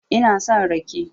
Ina son rake